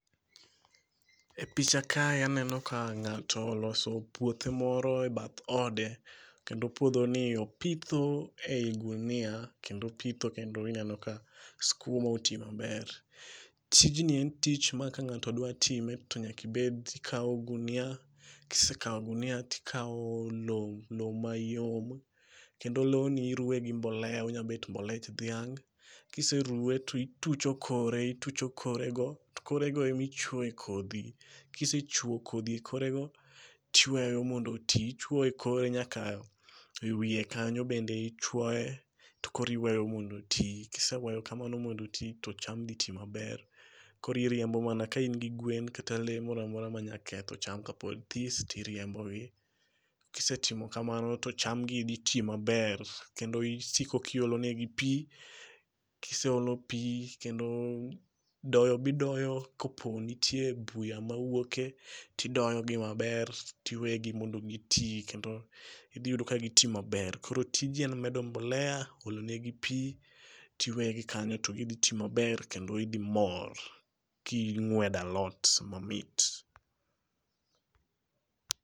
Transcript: E picha kae aneno ka ng'ato oloso puothe moro ebath ode kendo puodhoni opitho ei gunia kendo opitho ineno ka sikuma oti maber. Tijni en tich ma kang'ato dwa time to nyaka ibed nikawo ogunia kisekawo gunia to ikawo lowo mayom kendo lowoni iruwe gi mbolea onyalo bedo mbolech dhiang', ka iseruwe to itucho kore itucho korego to korego ema ichuoye kodhi ka isechuoyo kodhi e kore go to iweyo mondo oti chuoyo nyaka ewiye kanyo bende ichuoye to koro iweye mondo ,onfo oti, ka ise weyo kamano mondo oti to cham dhi ti maber. To ka in gi gigwen kata lee moro amora manyalo ketho cham kapod thiso to iriembo gi. Ka isetimo kamano to cham gi dhi ti maber kendo siko ka iolo negi pi ka iseolo pi kendo doyo be idoyo kopo nitie buya ma wuokie to idoyogi maber to iweyogi mondo giti kendo idhi yudo ka giti maber. Koro tiji en mana medonegi mbolea olo negi pi to iwegi kanyo to gidhi ti maber kendo idi mor ka ing'wedo alot mamit.